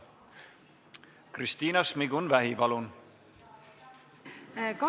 Kristina Šmigun-Vähi, palun!